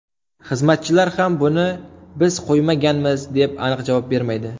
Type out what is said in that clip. Xizmatchilar ham buni biz qo‘ymaganmiz deb aniq javob bermaydi.